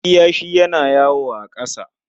Kiyashi yana yawo a ƙasa.